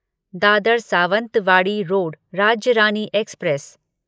Dadar Sawantwadi road Rajya Rani express